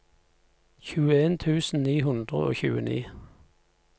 tjueen tusen ni hundre og tjueni